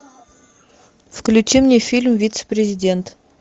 включи мне фильм вице президент